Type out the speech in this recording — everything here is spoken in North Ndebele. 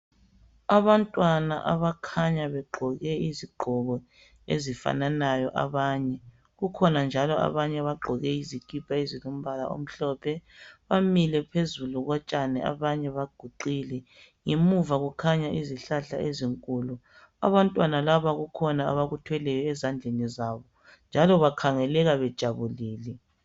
Abantwana abakhanya begqoke izigqoko ezifananayo abanye. Kukhona njalo abanye abagqoke izikipa ezilombala omhlophe bamile phezu ko tshani. Abanye baguqile. Ngemuva kukhanya izihlahla ezinkulu. Abantwana laba kukhona abakuthweleyo ezandleni zabo. Njalo bakhangeleka bejabulile.